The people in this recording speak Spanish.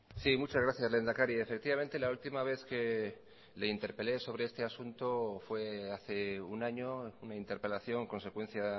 sí muchas gracias lehendakari efectivamente la última vez que le interpelé sobre este asunto fue hace un año una interpelación consecuencia